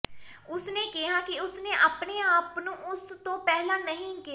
ਉਸ ਨੇ ਕਿਹਾ ਕਿ ਉਸ ਨੇ ਆਪਣੇ ਆਪ ਨੂੰ ਉਸ ਤੋਂ ਪਹਿਲਾਂ ਨਹੀਂ ਕਿਹਾ